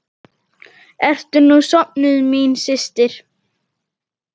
Ertu nú sofnuð, mín systir!